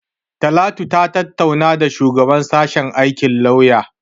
Talatu ta tattauna da shugaban sashen aikin lauya.